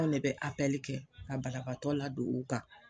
An' lɛ bɛ kɛ ka balabaatɔ ladon u kan